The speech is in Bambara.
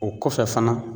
O kɔfɛ fana